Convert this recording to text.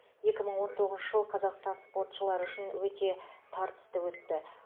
екі мың он тоғызыншы жыл қазақстан спортшылары үшін өте тартысты өтті